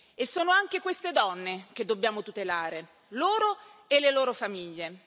E sono anche queste donne che dobbiamo tutelare, loro e le loro famiglie.